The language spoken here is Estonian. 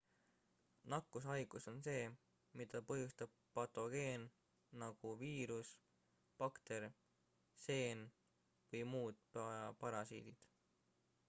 nakkushaigus on see mida põhjustab patogeen nagu viirus bakter seen või muud parasiidid